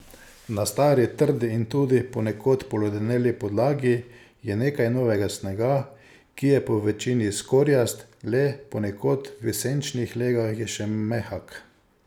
Na stari, trdi in tudi ponekod poledeneli podlagi je nekaj novega snega, ki je povečini skorjast, le ponekod v senčnih legah je še mehak.